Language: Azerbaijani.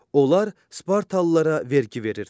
Onlar spartalılara vergi verirdilər.